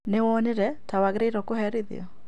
Nĩwonire ta wagĩrĩirwo kũherithio